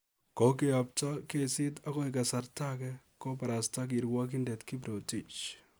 Kokeapta kesiit akoi kasarta age," kobarasta kirwogindet Kiprotich.